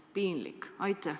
Piinlik!